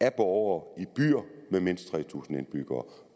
af borgere i byer med mindst tre tusind indbyggere